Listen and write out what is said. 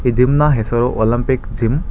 ಈ ಜಿಮ್ನ ಹೆಸರು ಒಲಂಪಿಕ್ ಜಿಮ್ .